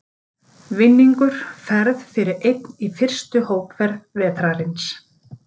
Vinningur Ferð fyrir einn í fyrstu hópferð vetrarins.